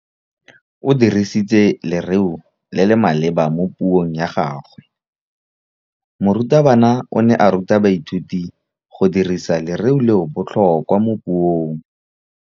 O dirisitse lerêo le le maleba mo puông ya gagwe. Morutabana o ne a ruta baithuti go dirisa lêrêôbotlhôkwa mo puong.